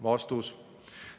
" Vastus.